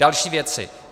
Další věci.